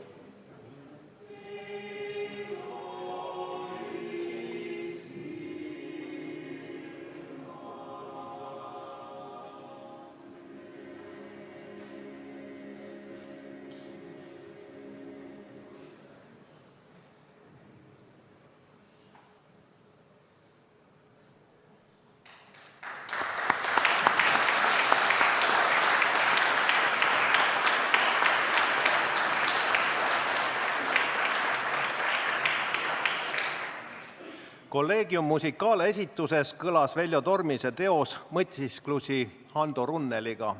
Collegium Musicale esituses kõlas Veljo Tormise teos "Mõtisklusi Hando Runneliga".